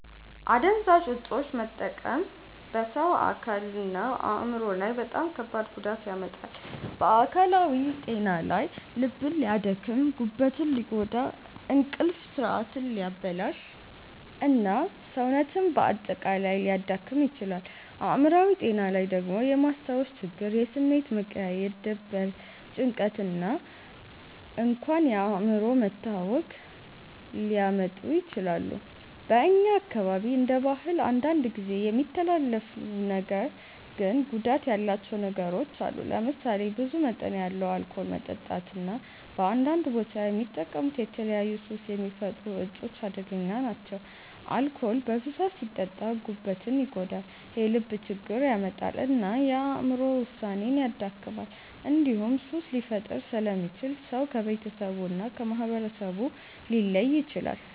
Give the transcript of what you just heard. አደንዛዥ እፆችን መጠቀም በሰው አካልና አእምሮ ላይ በጣም ከባድ ጉዳት ያመጣል። በአካላዊ ጤና ላይ ልብን ሊያደክም፣ ጉበትን ሊጎዳ፣ እንቅልፍ ስርዓትን ሊያበላሽ እና ሰውነትን በአጠቃላይ ሊያዳክም ይችላል። አእምሮአዊ ጤና ላይ ደግሞ የማስታወስ ችግር፣ የስሜት መቀያየር፣ ድብርት፣ ጭንቀት እና እንኳን የአእምሮ መታወክ ሊያመጡ ይችላሉ። በእኛ አካባቢ እንደ ባህል አንዳንድ ጊዜ የሚተላለፉ ነገር ግን ጉዳት ያላቸው ነገሮች አሉ። ለምሳሌ ብዙ መጠን ያለው አልኮል መጠጣት እና በአንዳንድ ቦታ የሚጠቀሙት የተለያዩ ሱስ የሚፈጥሩ እፆች አደገኛ ናቸው። አልኮል በብዛት ሲጠጣ ጉበትን ይጎዳል፣ የልብ ችግር ያመጣል እና የአእምሮ ውሳኔን ያደክማል። እንዲሁም ሱስ ሊፈጥር ስለሚችል ሰው ከቤተሰቡ እና ከማህበረሰቡ ሊለይ ይችላል።